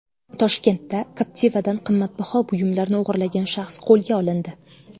Toshkentda Captiva’dan qimmatbaho buyumlarni o‘g‘irlagan shaxs qo‘lga olindi.